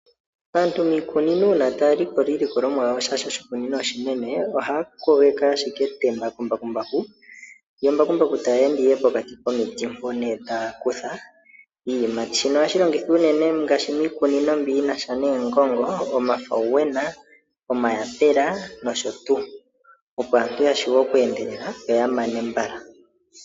Aantu miikunino uuna taya likola iilikolomwa yawo shaashi oshikunino oshinene, ohaya kogeke ashike etemba kembakumbaku lyo embakumbaku tali ende ashike pokati komiti mpono ne taya kutha iiyimati, shino ohashi longithwa uunene ngaashi miikunino mbiyinasha neengongo, omafawunena, omayapela nosho tu, opo aantu yashuwe okweendelela yoyamane mbala.